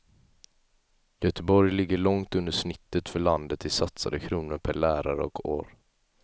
Göteborg ligger långt under snittet för landet i satsade kronor per lärare och år.